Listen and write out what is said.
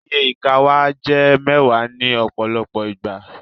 Iye ìka wàá jẹ mẹwàá ní ọpọlọpọ ìgbà